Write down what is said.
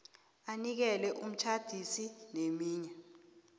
anikele umtjhadisi neminye